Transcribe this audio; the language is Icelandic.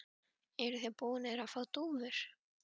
Eruð þið búnir að fá dúfur?